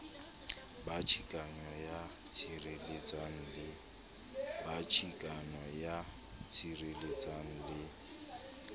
ba chikano ya sireletsang le